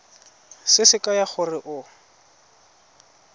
se se kaya gore o